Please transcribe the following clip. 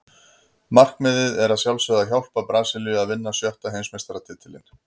Markmiðið er að sjálfsögðu að hjálpa Brasilíu að vinna sjötta Heimsmeistaratitilinn.